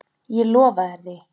Ég lofa þér því.